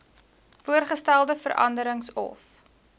voorgestelde veranderings of